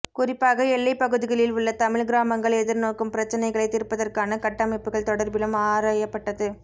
குறிப்பாக எல்லைப்பகுதிகளில் உள்ள தமிழ் கிராமங்கள் எதிர்நோக்கும் பிரச்சினைகளை தீர்ப்பதற்கான கட்டமைப்புகள் தொடர்பிலும் ஆராய்பபட்டது